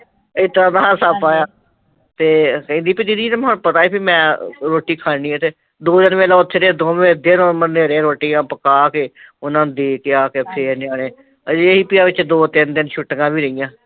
ਏਦਾਂ ਹਾਸਾ ਪਈਆ ਤੇ ਕਹਿੰਦੀ ਵੀ ਦੀਦੀ ਤੁਹਾਨੂੰ ਪਤਾ ਸੀ ਮੈਂ ਰੋਟੀ ਖਾ ਲੈਣੀ ਐ ਤੇ, ਦੋ ਚਾਰ ਦਿਨ ਮੇਲਾ ਓਥੇ ਰਹੇ ਦੋਵੇ ਦਿਨ ਮਨੈ ਰਹੇ ਰੋਟੀਆਂ ਪਕਾ ਕੇ ਓਹਨਾ ਨੂੰ ਦੇ ਕੇ ਆ ਕੇ ਫੇਰ ਨਿਆਣੇ ਹਲੇ ਏਹ ਸੀ ਵੀ ਦੋ ਤਿਨ ਵਿੱਚ ਛੁੱਟੀਆ ਵੀ ਰਹੀਆਂ